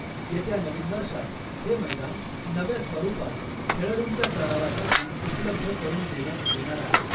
येत्या नवीन वर्षात हे मैदान नव्या स्वरूपात खेळाडूंच्या सरावासाठी उपलब्ध करून देण्यात येणार आहे .